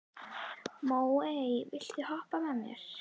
Móey, viltu hoppa með mér?